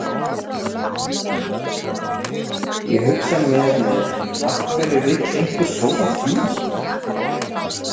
Ég hugsa með mér af hverju vill einhver sóa tíma?